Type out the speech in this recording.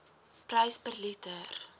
prys per liter